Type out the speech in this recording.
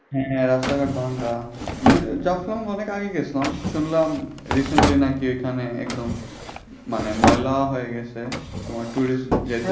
হ্যাঁ রাস্তাঘাট ভাঙা। জাফলং আমি অনেক আগে গেছিলাম শুনলাম recently নাকি এখন ঐখানে একদম মানে ময়লা হয়ে গেছে। তোমার tourist যে